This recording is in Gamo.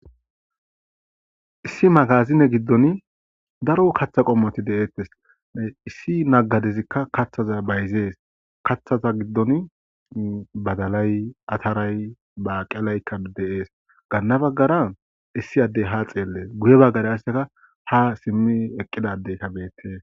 Issi magazine giddon daro kaththa qommoti deettes issi naggadezikka kaththaza bayzees kaththaza giddon badalay ataray baaqelaykka deees gaanna baggara issi addey ha xeellees guye baggara arseka ha simmi eqqidadeyka beette.